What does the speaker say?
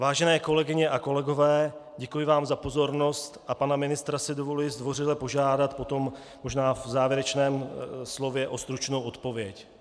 Vážené kolegyně a kolegové, děkuji vám za pozornost a pana ministra si dovoluji zdvořile požádat potom, možná v závěrečném slově, o stručnou odpověď.